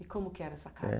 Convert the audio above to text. E como que era essa casa?